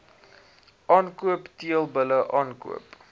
aankoop teelbulle aankoop